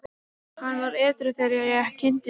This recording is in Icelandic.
Hann var edrú þegar ég kynntist honum.